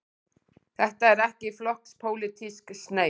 Þetta er ekki flokkspólitísk sneið.